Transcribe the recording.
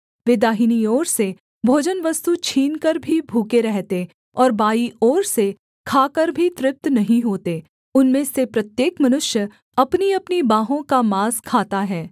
वे दाहिनी ओर से भोजनवस्तु छीनकर भी भूखे रहते और बायीं ओर से खाकर भी तृप्त नहीं होते उनमें से प्रत्येक मनुष्य अपनीअपनी बाँहों का माँस खाता है